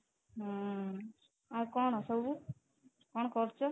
ହୁଁ ଆଉ କଣ ସବୁ ଆଉ କଣ କରୁଛ?